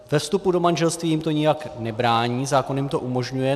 Ve vstupu do manželství jim to nijak nebrání, zákon jim to umožňuje.